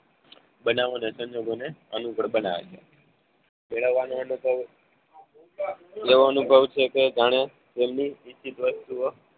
બનાવો અને સંજોગોને અનુકૂળ બનાવે છે કેળવવાનો અનુભવ એવો અનુભવ છે જાણે જેમની નિશ્ચિત વસ્તુ